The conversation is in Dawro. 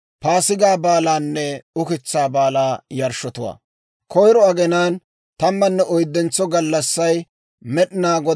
« ‹Koyiro aginaan tammanne oyddentso gallassay Med'inaa Godaa Paasigaa bonchchiyaa gallassaa gido.